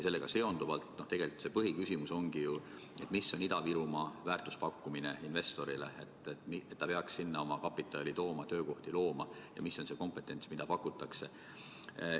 See tegelikult põhiküsimus ongi, milline on Ida-Virumaa väärtus investori silmis: kui ta peaks tahtma sinna oma kapitali tuua, seal töökohti luua, siis milline on see kompetents, mida pakutakse.